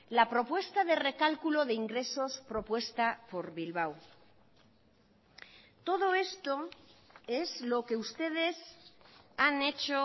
la propuesta de recalculo de ingresos propuesta por bilbao todo esto es lo que ustedes han hecho